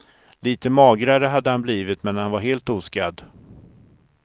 Lite magrare hade han blivit, men han var helt oskadd.